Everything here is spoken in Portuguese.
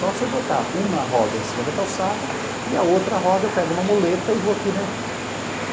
Só se eu botar uma roda em cima da calçada e a outra roda eu pego uma moleta e vou aqui, né?